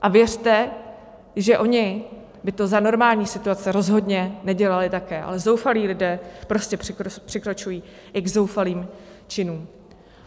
A věřte, že oni by to za normální situace rozhodně nedělali také, ale zoufalí lidé prostě přikračují i k zoufalým činům.